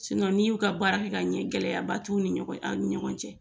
n'i y'u ka baara kɛ ka ɲɛ, gɛlɛyaba t'u ni ɲɔgɔn cɛ, a ni ɲɔgɔn cɛ